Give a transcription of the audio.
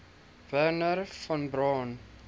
wernher von braun